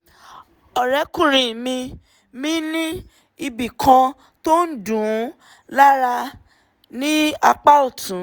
ọ̀rẹ́kùnrin mi mi ní ibi kan tó ń dùn ún lára ní apá ọ̀tún